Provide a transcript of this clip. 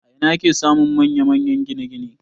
A ina ake samun manya-manyan gine-gine?